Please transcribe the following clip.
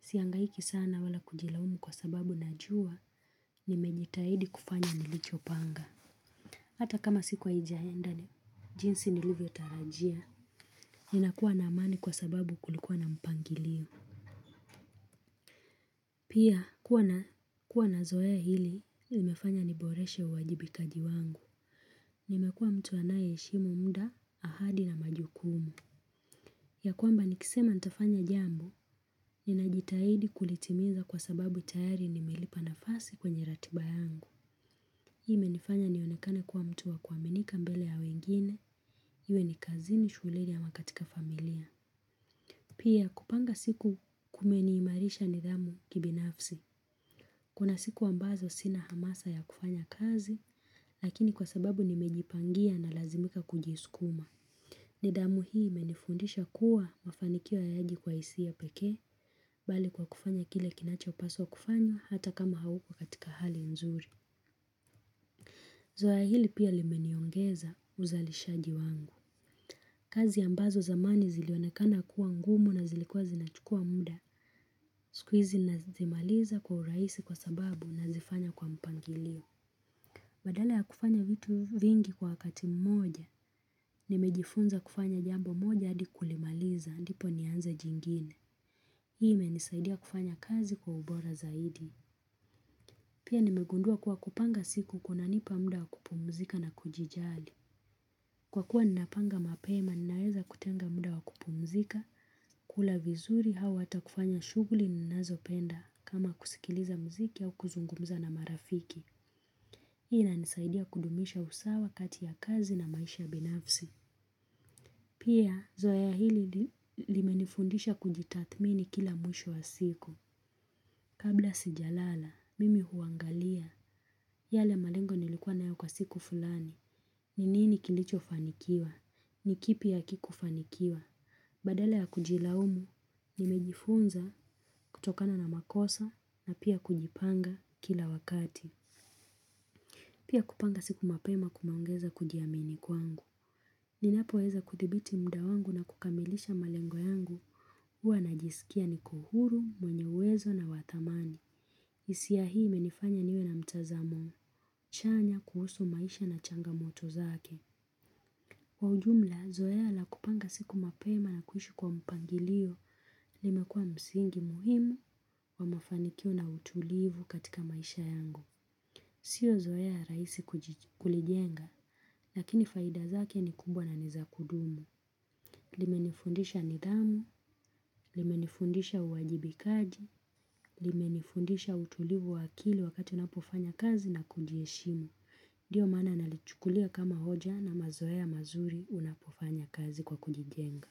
Sihangaiki sana wala kujilaumu kwa sababu najua nimejitahidi kufanya nilicho panga. Hata kama siku haijaenda jinsi nilivyotarajia. Ninakuwa na amani kwa sababu kulikuwa na mpangilio. Pia kuwa na zoea hili, imefanya niboreshe uwajibikaji wangu. Nimekuwa mtu anaye heshimu muda, ahadi na majukumu. Ya kwamba nikisema nitafanya jambo, ninajitahidi kulitimiza kwa sababu tayari nimelipa nafasi kwenye ratiba yangu. Hii imenifanya nionekane kuwa mtu wa kuaminika mbele ya wengine, iwe ni kazini shulenu ama katika familia. Pia kupanga siku kumeniimarisha nidhamu kibinafsi. Kuna siku ambazo sina hamasa ya kufanya kazi, lakini kwa sababu nimejipangia nalazimika kujisukuma. Nidhamu hii menifundisha kuwa mafanikio hayaji kwa hisia peke, bali kwa kufanya kile kinachopaswa kufanywa hata kama hauko katika hali nzuri. Zoea hili pia limeniongeza uzalishaji wangu. Kazi ambazo zamani zilionekana kuwa ngumu na zilikuwa zinachukua muda siku hizi nazimaliza kwa urahisi kwa sababu nazifanya kwa mpangilio. Badala ya kufanya vitu vingi kwa wakati mmoja. Nimejifunza kufanya jambo moja hadi kulimaliza ndipo nianze jingine. Imenisaidia kufanya kazi kwa ubora zaidi. Pia nimegundua kuwa kupanga siku kunanipa muda wakupumzika na kujijali, kwa kuwa ninapanga mapema ninaweza kutenga muda wakupumzika. Kula vizuri au hata kufanya shughuli ninazo penda kama kusikiliza muziki au kuzungumza na marafiki. Hii inanisaidia kudumisha usawa kati ya kazi na maisha binafsi. Pia, zoea hili limenifundisha kujitathmini kila mwisho wa siku. Kabla sijalala, mimi huangalia. Yale malengo nilikuwa nayo kwa siku fulani. Ni nini kilicho fanikiwa? Ni kipi hakikufanikiwa? Badala ya kujilaumu, nimejifunza kutokana na makosa na pia kujipanga kila wakati. Pia kupanga siku mapema kumeongeza kujiamini kwangu. Ninapo weza kuthibiti muda wangu na kukamilisha malengo yangu. Huwa najisikia niko huru, mwenye uwezo na wa dhamani. Hisia hii imenifanya niwe na mtazamo chanya kuhusu maisha na changamoto zake. Kwa ujumla, zoea la kupanga siku mapema na kuishi kwa mpangilio, limekuwa msingi muhimu wa mafanikio na utulivu katika maisha yangu. Sio zoea rahisi kulijenga, lakini faida zake ni kubwa na nizakudumu. Limenifundisha nidhamu, limenifundisha uwajibikaji, limenifundisha utulivu wa akili wakati ninapofanya kazi na kujiheshimu. Ndio maana nalichukulia kama hoja na mazoea mazuri unapofanya kazi kwa kujijenga.